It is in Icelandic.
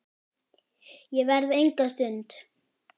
Ég verð enga stund!